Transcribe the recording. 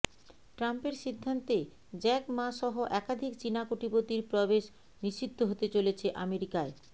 ট্রাম্পের সিদ্ধান্তে Jack Ma সহ একাধিক চিনা কোটিপতির প্রবেশ নিষিদ্ধ হতে চলেছে আমেরিকায়